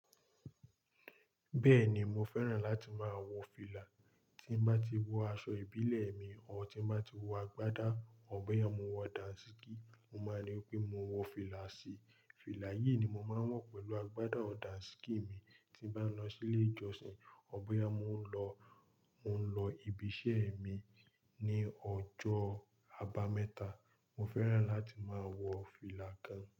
Bẹ́ẹ̀ ni, mo fẹ́ràn láti máa wọ fìlà. Tí mo bá ti wọ aṣọ ìbílẹ̀ mi or tí n bá ti wọ agbádá, or bóyá mo wọ dàǹsíkí, mo máa ní wípé mo wọ fìlà sí i. Fìlà yìí ni mo máa ń wọ pẹ̀lú agbádá or dàǹsíkí mi tí n bá ń lọ sí ilé ìjọsìn, or bóyá mo n lo mo ń lọ ibi iṣẹ́ mi ní ọjọ́ àbámẹ́ta. Mo fẹ́ràn láti máa wọ fìlà kan.